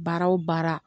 Baara o baara